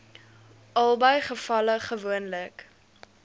albei gevalle gewoonlik